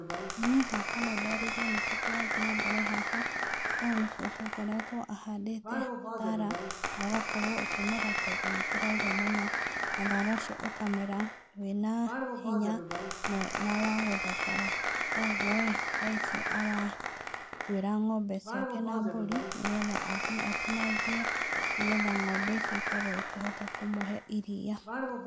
Niĩ hakwa no ndarĩrĩrie nĩkĩĩ kĩrathiĩ na mbere haha. Ũyũ nĩ cũcũ ũkoretwo ahandĩte thaara, na ũgakorwo ũkĩmera tondũ nĩ kũraura mũno, na thaara ũcio ũkamera, wĩna hinya na wa gũthakara. Kũguo ĩĩ, thaa ici aratuĩra ng'ombe ciake na mbũri, nĩgetha athiĩ atinangie. nĩgetha ng'ombe icio ikorwo ikĩhota kũmũhe iriia.